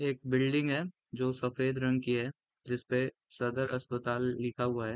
एक बिल्डिंग है जो सफ़ेद रंग की है जिसपे सदर अस्पताल लिखा हुआ है।